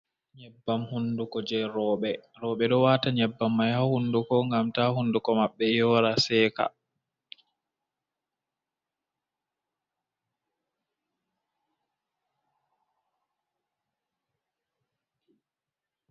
Nyebbam hunduko je roɓe. Roɓe ɗo wata nyebbam mai ha hunduko ngam ta hunduko maɓɓe yora, seka.